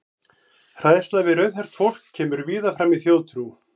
Hræðsla við rauðhært fólk kemur víða fram í þjóðtrú.